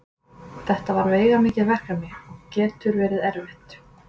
Þetta er veigamikið verkefni og getur verið erfitt.